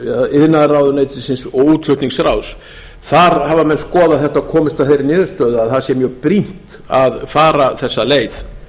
iðnaðarráðuneytisins og útflutningsráðs þar hafa menn skoðað þetta og komist að þeirri niðurstöðu að það sé mjög brýnt að fara þessa leið